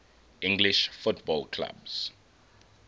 english football clubs